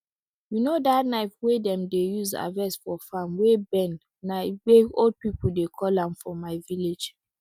you know that knife wey dem dey use harvest for farm wey bend na egbe old people dey call am for my village